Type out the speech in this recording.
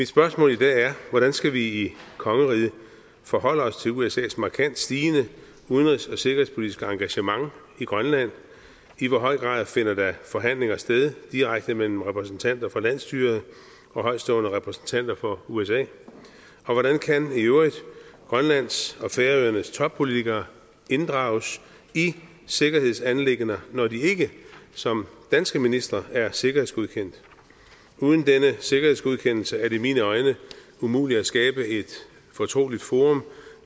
spørgsmål i dag er hvordan skal vi i kongeriget forholde os til usas markant stigende udenrigs og sikkerhedspolitiske engagement i grønland i hvor høj grad finder der forhandlinger sted direkte mellem repræsentanter for landsstyret og højtstående repræsentanter for usa og hvordan kan i øvrigt grønlands og færøernes toppolitikere inddrages i sikkerhedsanliggender når de ikke som danske ministre er sikkerhedsgodkendt uden denne sikkerhedsgodkendelse er det i mine øjne umuligt at skabe et fortroligt forum